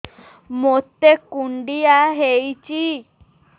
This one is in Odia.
ମୋତେ କୁଣ୍ଡିଆ ହେଇଚି